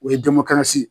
O ye